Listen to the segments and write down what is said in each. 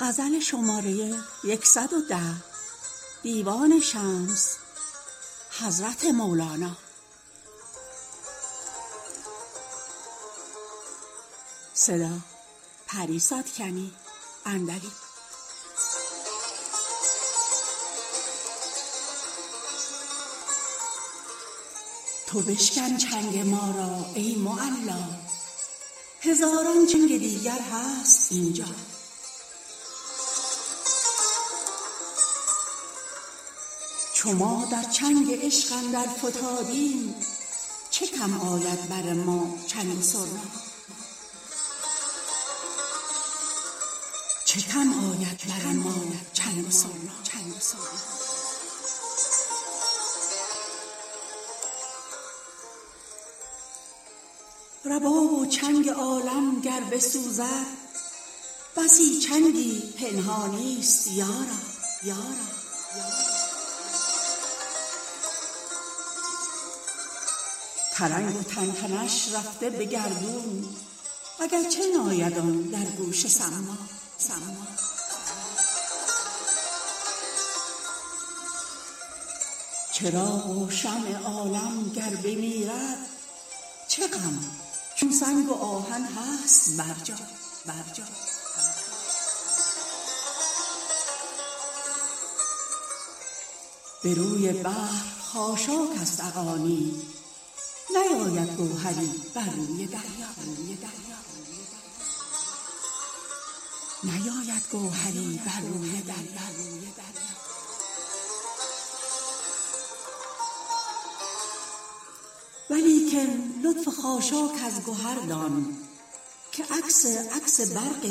تو بشکن چنگ ما را ای معلا هزاران چنگ دیگر هست اینجا چو ما در چنگ عشق اندر فتادیم چه کم آید بر ما چنگ و سرنا رباب و چنگ عالم گر بسوزد بسی چنگی که پنهانیست یارا ترنگ و تنتنش رفته به گردون اگر چه ناید آن در گوش صما چراغ و شمع عالم گر بمیرد چه غم چون سنگ و آهن هست برجا به روی بحر خاشاک است اغانی نیاید گوهری بر روی دریا ولیکن لطف خاشاک از گهر دان که عکس عکس برق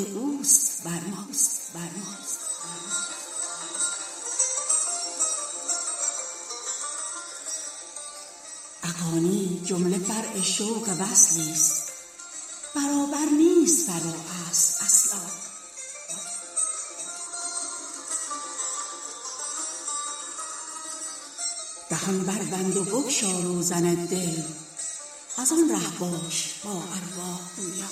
اوست بر ما اغانی جمله فرع شوق وصلی ست برابر نیست فرع و اصل اصلا دهان بربند و بگشا روزن دل از آن ره باش با ارواح گویا